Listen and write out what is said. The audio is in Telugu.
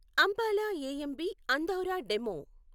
Ambala AMB Andaura DEMU